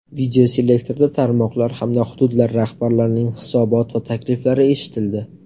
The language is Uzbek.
Videoselektorda tarmoqlar hamda hududlar rahbarlarining hisobot va takliflari eshitildi.